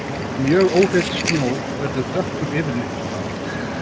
Mjög óhreinn snjór verður dökkur yfirlitum.